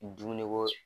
Dumuni ko